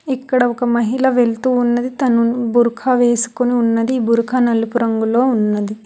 ఇక్కడ ఒక మహిళ వెళుతూ ఉన్నది తను బుర్ఖ వేసుకుని ఉన్నది బురఖా నలుపు రంగులో ఉన్నది.